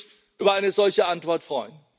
Ich würde mich über eine solche Antwort freuen.